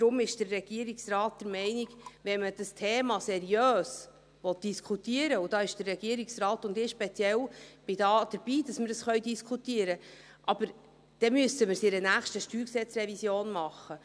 Deshalb ist der Regierungsrat der Meinung, dass wenn man das Thema seriös diskutieren will – der Regierungsrat und ich speziell sind dabei, dass wir dies diskutieren können –, wir dies bei anlässlich einer nächsten StG-Revision tun müssen.